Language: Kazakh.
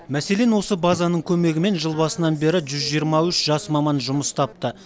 мәселен осы базаның көмегімен жыл басынан бері жүз жиырма үш жас маман жұмыс тапты